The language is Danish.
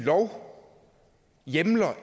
at når jeg kigger